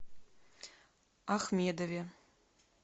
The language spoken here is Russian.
ахмедове